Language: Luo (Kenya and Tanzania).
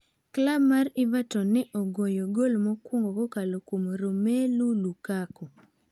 Klab mar Evaton ne ogoyo goal mokwongo kokalo kuom Romelu Lukaku.